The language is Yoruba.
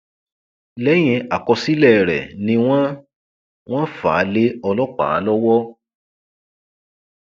lẹyìn àkọsílẹ rẹ ni wọn wọn fà á lé ọlọpàá lọwọ